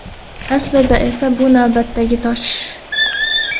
Aslida esa bu navbatdagi tosh.